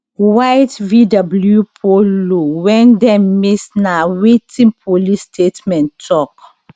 white vw polo wen dem miss na wetin police statement tok